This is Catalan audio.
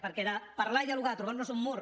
perquè de parlar i dialogar a trobar nos un mur